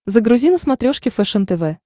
загрузи на смотрешке фэшен тв